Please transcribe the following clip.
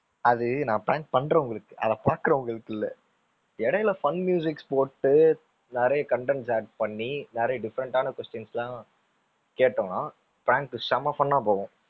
அது நான் prank பண்றவங்களுக்கு அதை பாக்குறவங்களுக்கு இல்ல. இடையில fun s போட்டு நிறைய contents add பண்ணி நிறைய different ஆன questions லாம் கேட்டோம்னா prank உ செம fun ஆ போகும்.